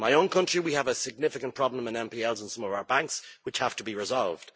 In my own country, we have a significant problem with NPLs in some of our banks, which have to be resolved.